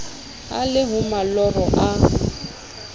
e le ho maloro a